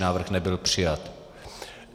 Návrh nebyl přijat.